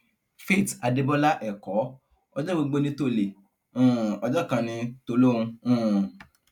faith adébọlá ẹkọ ọjọ gbogbo ní tọlé um ọjọ kan ní tòlóhùn um